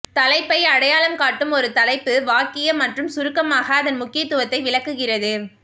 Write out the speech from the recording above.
தலைப்பை அடையாளம் காட்டும் ஒரு தலைப்பு வாக்கியம் மற்றும் சுருக்கமாக அதன் முக்கியத்துவத்தை விளக்குகிறது